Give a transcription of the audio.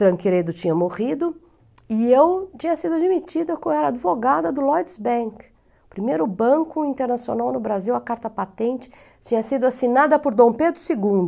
tinha morrido e eu tinha sido admitida como era advogada do Lloyds Bank, o primeiro banco internacional no Brasil, a carta patente tinha sido assinada por Dom Pedro segundo.